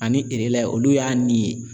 Ani olu y'a nin